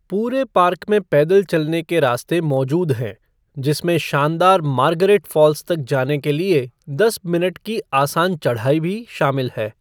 पूरे पार्क में पैदल चलने के रास्ते मौजूद हैं, जिसमें शानदार मार्गरेट फ़ॉल्स तक जाने के लिए दस मिनट की आसान चढ़ाई भी शामिल है।